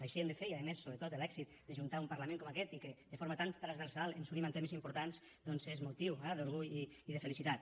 així ho hem de fer i a més sobretot l’èxit d’ajuntar un parlament com aquest i que de forma tan transversal ens unim en temes importants doncs és motiu d’orgull i de felicitat